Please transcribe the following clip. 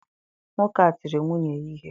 Nwoke a tiri nwunye ya ihe.